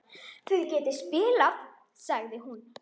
Þið getið spilað, sagði hún.